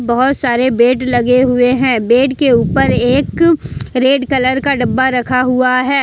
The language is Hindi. बहुत सारे बेड लगे हुए हैं बेड के ऊपर एक रेड कलर का डब्बा रखा हुआ है।